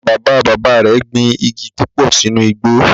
Bàbá bàbá rẹ̀ gbin igi púpò sínú igbó